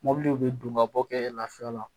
Mɔbiliw bɛ don ka bɔ kɛ lafiya la